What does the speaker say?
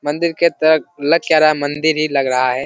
मंदिर की तरह लग क्या रहा है मंदिर ही लग रहा है।